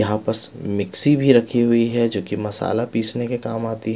यहाँ पस मिक्सी भी रखी हुई है जो कि मसाला पीसने के काम आती है।